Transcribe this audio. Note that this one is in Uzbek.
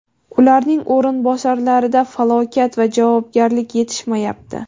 ularning o‘rinbosarlarida vakolat va javobgarlik yetishmayapti.